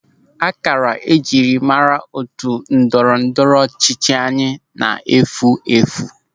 Ákárá njiri mmara otu ndọrọ ndọrọ ọchịchị anyị na-efu efu.